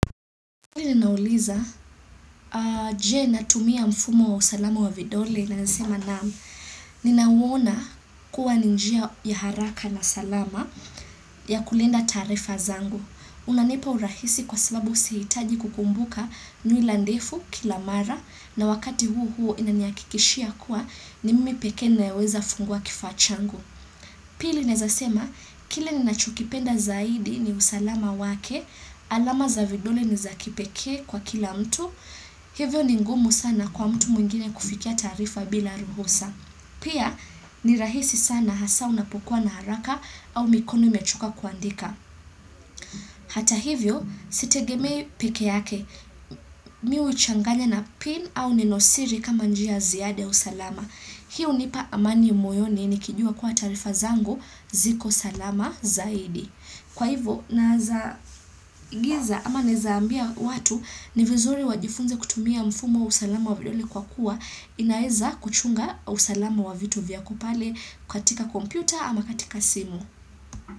Pili ninauliza, je tumia mfumo wa usalama wa vidole na ninawona kuwa ninjia ya haraka na salama ya kulinda taarifa zangu. Unanipa urahisi kwa sababu sihtaji kukumbuka nwila ndefu kila mara na wakati huu huu inaniakikishia kuwa ni mimi peke naeweza fungua kifaa changu. Pili nezasema, kile ni nachukipenda zaidi ni usalama wake, alama za vidole ni za kipekee kwa kila mtu, hivyo ni ngumu sana kwa mtu mwingine kufikia taarifa bila ruhusa. Pia, ni rahisi sana hasa unapukua na haraka au mikono imechoka kuandika. Hata hivyo, sitegemei peke yake, mi huchanganya na pin au neno siri kama njia ziada usalama. Hii hunipa amani moyoni nikijua kuwaa taarifa zango ziko salama zaidi. Kwa hivyo, naza giza ama nezaambia watu ni vizuri wajifunze kutumia mfumo usalama wa vidole kwa kuwa inaeza kuchunga usalama wavitu vya kupale katika kompyuta ama katika simu.